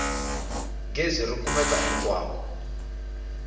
gezi ri kumeka hinkwako